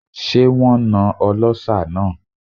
Ṣé wón na ọlọ́ṣà náà?